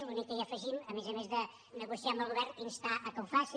l’únic que hi afegim a més a més de negociar amb el govern instar que ho faci